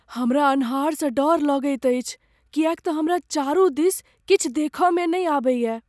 हमरा अन्हारसँ डर लगैत अछि किएक त हमरा चारु दिस किछु देख में नहि अबैये।